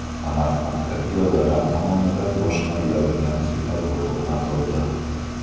Samarqandda piyodalar tomonidan boshqariladigan svetofor o‘rnatildi.